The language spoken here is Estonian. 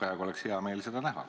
Praegu oleks hea meel seda näha.